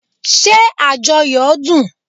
Ṣé ajoyo dun?